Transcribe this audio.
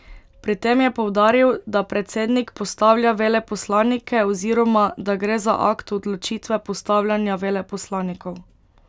Pri tem je poudaril, da predsednik postavlja veleposlanike oziroma, da gre za akt odločitve postavljanja veleposlanikov.